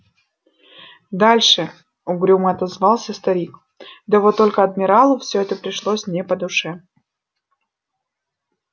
дальше угрюмо отозвался старик да вот только адмиралу все это пришлось не по душе